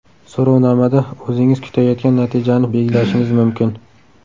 So‘rovnomada o‘zingiz kutayotgan natijani belgilashingiz mumkin.